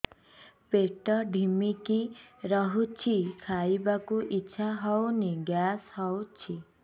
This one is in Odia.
ପେଟ ଢିମିକି ରହୁଛି ଖାଇବାକୁ ଇଛା ହଉନି ଗ୍ୟାସ ହଉଚି